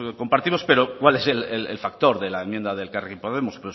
compartimos pero cuál es el factor de la enmienda de elkarrekin podemos